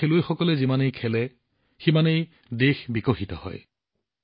আমাৰ খেলুৱৈসকলে যিমানেই খেলে সিমানেই উজ্বলি উঠে